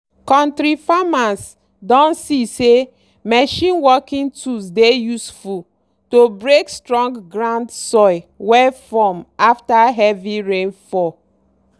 kontri farmers don see say machine working tools dey useful to break strong ground soil wey form after heavy rain fall.